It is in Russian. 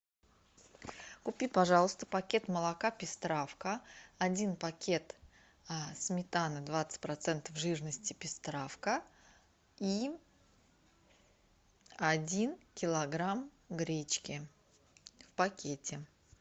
купи пожалуйста пакет молока пестравка один пакет сметаны двадцать процентов жирности пестравка и один килограмм гречки в пакете